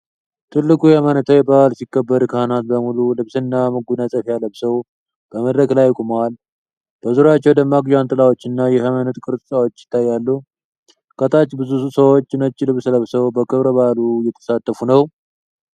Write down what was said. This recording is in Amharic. ትልቁ የሃይማኖታዊ በዓል ሲከበር ካህናት በሙሉ ልብስና መጎናጸፊያ ለብሰው በመድረክ ላይ ቆመዋል። በዙሪያቸው ደማቅ ጃንጥላዎች እና የሃይማኖት ቅርሶች ይታያሉ። ከታች ብዙ ሰዎች ነጭ ልብስ ለብሰው በክብረ በዓሉ እየተሳተፉ ነው።